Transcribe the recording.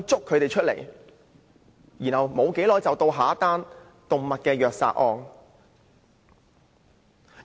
過了不久，又會發生另一宗動物虐殺案。